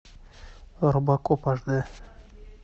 робокоп аш дэ